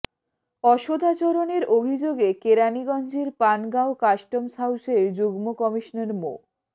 অসদাচরণের অভিযোগে কেরানীগঞ্জের পানগাঁও কাস্টমস হাউসের যুগ্ম কমিশনার মো